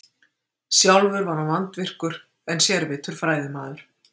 Sjálfur var hann vandvirkur en sérvitur fræðimaður.